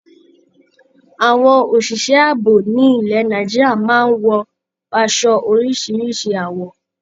Àwọn òṣị̀ṣẹ́ àbò ní ilẹ̀ Nàìjíríà máa ń wọ aṣọ oríṣiríṣi àwọ̀.